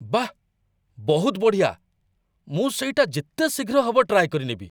ବାଃ! ବହୁତ ବଢ଼ିଆ! ମୁଁ ସେଇଟା ଯେତେ ଶୀଘ୍ର ହେବ ଟ୍ରାଏ କରିନେବି!